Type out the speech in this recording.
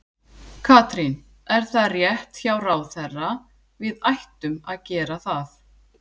Katrín, er það rétt hjá ráðherra, við ættum að gera það?